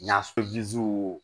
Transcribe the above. N'a